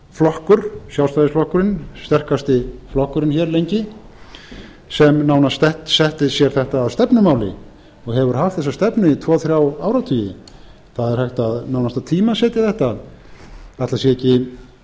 flokkur sjálfstæðisflokkurinn sterkasti flokkurinn hér lengi sem nánast setti sér þetta að stefnumáli og hefur haft þessa stefnu í tvo þrjá áratugi það er hægt nánast að tímasetja þetta ætli það hafi